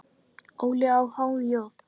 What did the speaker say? Óli á há joð?